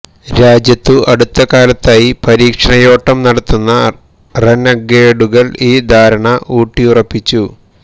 രാജ്യത്തു അടുത്തകാലത്തായി പരീക്ഷണയോട്ടം നടത്തുന്ന റെനഗേഡുകള് ഈ ധാരണ ഊട്ടിയുറപ്പിച്ചു